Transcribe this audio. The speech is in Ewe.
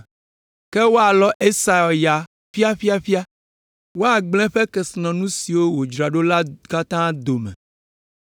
Ke woalɔ Esau ya ƒiaƒiaƒia, woagblẽ eƒe kesinɔnu siwo wòdzra ɖo la katã dome.